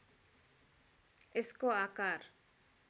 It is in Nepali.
यसको आकार